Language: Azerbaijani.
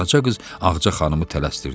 Deyə qaraca qız Ağca xanımı tələstirdi.